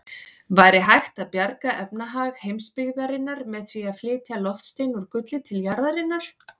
Væri hægt að bjarga efnahag heimsbyggðarinnar með því að flytja loftstein úr gulli til jarðarinnar?